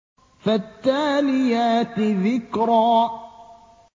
فَالتَّالِيَاتِ ذِكْرًا